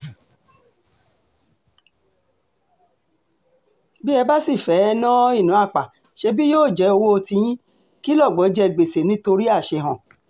bí ẹ bá sì fẹ́ẹ́ ná ìná àpà ṣebí yóò jẹ́ owó tiyín kí lọ́gbọ́ jẹ gbèsè nítorí àṣehàn